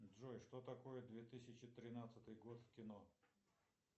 джой что такое две тысячи тринадцатый год в кино